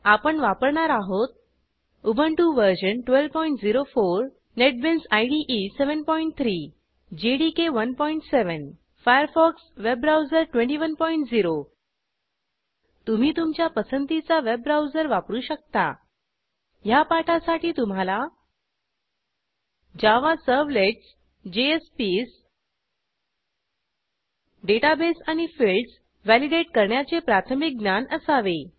आपण वापरणार आहोत Ubuntu version 1204 NetBeans IDE 73 JDK 17 Firefox web browser 210 तुम्ही तुमच्या पसंतीचा वेब ब्राऊजर वापरू शकता ह्या पाठासाठी तुम्हाला जावा सर्व्हलेट्स जेएसपीएस डेटाबेस आणि फिल्डस व्हॅलिडेट करण्याचे प्राथमिक ज्ञान असावे